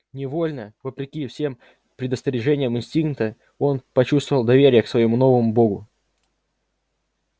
невольно вопреки всем предостережениям инстинкта он почувствовал доверие к своему новому богу